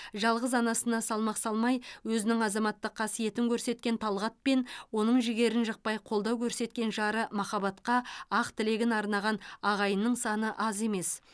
жалғыз анасына салмақ салмай өзінің азаматтық қасиетін көрсеткен талғат пен оның жігерін жықпай қолдау көрсеткен жары махаббатқа ақ тілегін арнаған ағайынның саны аз емес